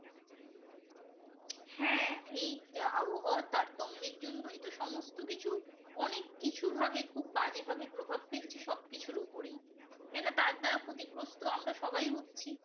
হ্যাঁ এই আবহাওয়ার তারতম্যের জন্যই তো সমস্ত কিছু অনেক কিছু ভাবে খুব বাজে ভাবে প্রভাব ফেলছে সবকিছুর ওপরেই তাই না, তার দ্বারা ক্ষতিগ্রস্ত আমরা সবাই হচ্ছি